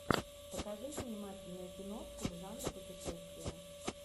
покажи занимательную киношку в жанре путешествие